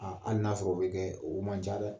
hali n'a sɔrɔ o bɛ kɛ, oo man ca dɛ.